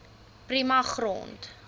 prima grond